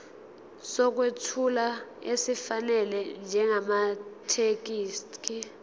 sokwethula esifanele njengamathekisthi